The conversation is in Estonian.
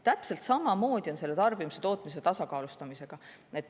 Täpselt samamoodi on selle tarbimise ja tootmise tasakaalustamisega.